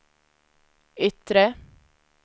yttre